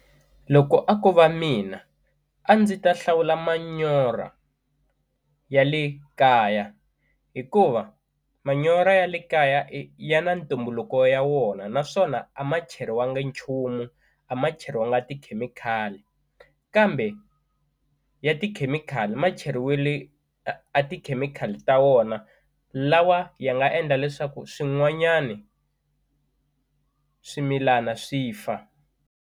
Loko a ko va mina a ndzi ta hlawula manyora ya le kaya hikuva manyora ya le kaya ya na ntumbuluko ya wona naswona a ma cheriwangi nchumu a ma cheriwanga tikhemikhali kambe ya tikhemikhali ma cheriwile a tikhemikhali ta wona lawa ya nga endla leswaku swin'wanyani swimilana swi fa.